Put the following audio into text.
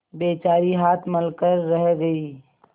बेचारी हाथ मल कर रह गयी